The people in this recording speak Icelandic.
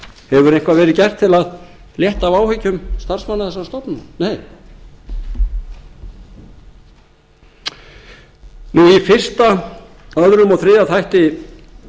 hefur eitthvað verið gert til að létta af áhyggjum starfsmanna þessara stofnana nei í fyrsta öðrum og þriðja þætti